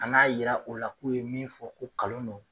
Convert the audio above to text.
Ka na yira u la k'u ye min fɔ ko kalon don